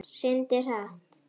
Syndir hratt.